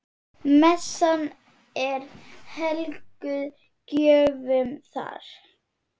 Messan er helguð gjöfum jarðar.